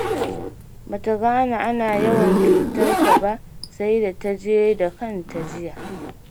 Ba ta gane ana yawan cutar ta ba, sai da ta je da kanta jiya.